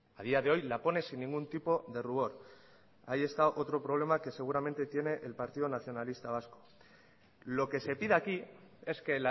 a día de hoy la pone sin ningún tipo de rubor ahí está otro problema que seguramente tiene el partido nacionalista vasco lo que se pide aquí es que